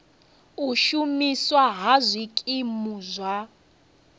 u shumiswa ha zwikimu zwa